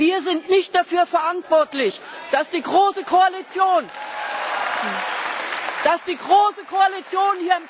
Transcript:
Wir sind nicht dafür verantwortlich, dass die große Koalition